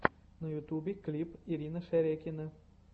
на ютубе клип ирина шерекина